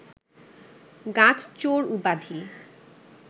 গাছ চোর উপাধি